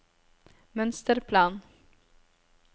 mønsterplan